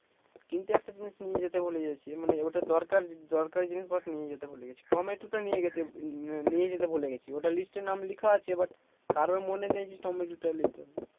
কিন্তু একটা জিনিস নিয়ে যেতে ভুলে গেছি মানে ওটা দরকার দরকারি জিনিস বাট নিয়ে যেতে ভুলে গেছি টমেটোটা নিয়ে যেতে আহ নিয়ে যেতে ভুলে গেছি ওটা লিস্টে নাম লেখা আছে বাট কারোই মনে নেই যে টমেটোটা নিতে হবে